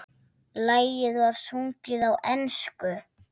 Lagið var sungið á ensku.